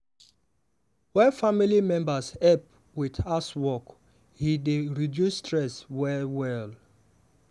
wen family members help with housework e dey reduce stress well well.